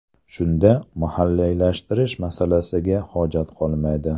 Shunda mahalliylashtirish masalasiga hojat qolmaydi.